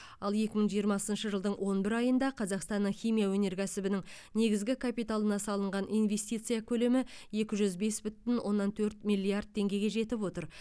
ал екі мың жиырмасыншы жылдың он бір айында қазақстанның химия өнеркәсібінің негізгі капиталына салынған инвестицияның көлемі екі жүз бес бүтін оннан төрт миллиард теңгеге жетіп отыр